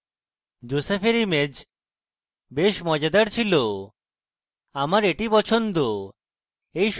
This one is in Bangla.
josephs image বেশ মজাদার ছিল আমার এটি পছন্দ